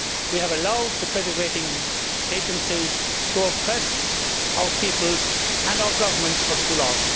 We have allowed the credit rating agencies to oppress our peoples and our governments for too long.